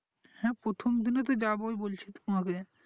হ্যাঁ প্রথম দিনে তো যাবোই বলছি তো তোমাকে